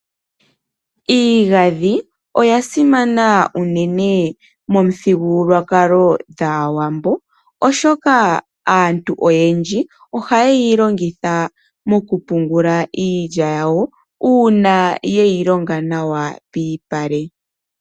Iingandhi oyasimana unene momuthigululwakalo gwaawambo, oshoka aantu oyendji oha yeyi longitha okupungulamo iilya yawo uuna yeyi longo nawa piipale.